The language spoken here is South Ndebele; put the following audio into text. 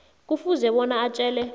kufuze bona atjele